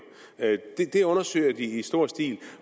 det undersøger de i stor stil